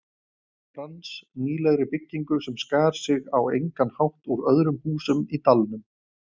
Frans, nýlegri byggingu sem skar sig á engan hátt úr öðrum húsum í dalnum.